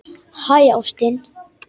Hæ, ástin.